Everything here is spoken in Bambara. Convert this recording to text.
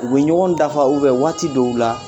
U bɛ ɲɔgɔn dafa ubɛ waati dɔw la